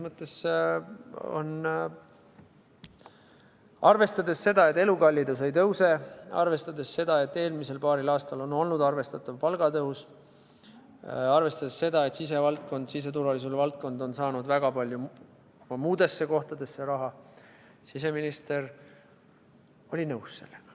Arvestades seda, et elukallidus ei tõuse, arvestades seda, et eelmisel paaril aastal on olnud arvestatav palgatõus, arvestades seda, et siseturvalisuse valdkond on saanud väga palju raha ka muudesse kohtadesse, siis siseminister oli nõus sellega.